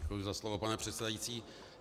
Děkuji za slovo, pane předsedající.